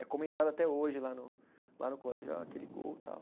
É comentado até hoje lá no, lá no colégio, ó, aquele gol e tal.